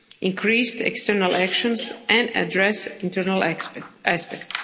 increased external actions and address internal aspects.